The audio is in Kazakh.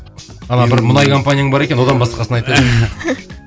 ана бір мұнай компанияң бар екен одан басқасын айт